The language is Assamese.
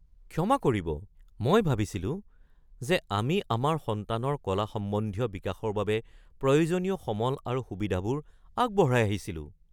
ক্ষমা কৰিব? মই ভাবিছিলো যে আমি আমাৰ সন্তানৰ কলা সম্বন্ধীয় বিকাশৰ বাবে প্ৰয়োজনীয় সমল আৰু সুবিধাবোৰ আগবঢ়াই আহিছিলো।